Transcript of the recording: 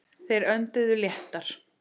Þeir önduðu léttar.